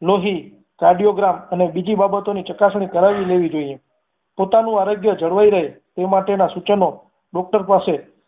લોહી કાર્ડિયોગ્રામ અને બીજી બાબતોની ચકાસણી કરાવી લેવી જોઈએ પોતાનું આરોગ્ય જળવાઈ રે એ માટેના સૂચનો doctor પાસે